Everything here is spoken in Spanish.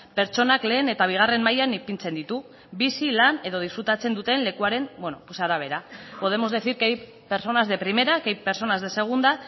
pertsonak lehen eta bigarren mailan ipintzen ditu bizi lan edo disfrutatzen duten lekuaren arabera podemos decir que hay personas de primera que hay personas de segunda